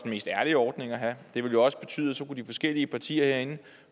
mest ærlige ordning at have det ville jo også betyde at så kunne de forskellige partier herinde